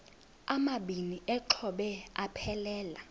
amabini exhobe aphelela